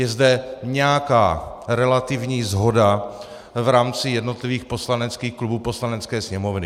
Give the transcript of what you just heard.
Je zde nějaká relativní shoda v rámci jednotlivých poslaneckých klubů Poslanecké sněmovny.